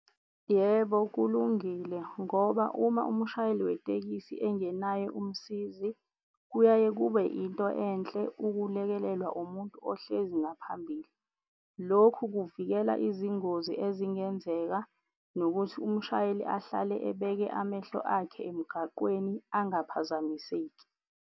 Yebo, kulungile ngoba uma umshayeli wetekisi engenaye umsizi kuyaye kube into enhle ukulekelelwa umuntu ohlezi ngaphambili. Lokhu kuvikela izingozi ezingenzeka, nokuthi umshayeli ahlale ebeke amehlo akhe emgaqweni angaphazamiseki.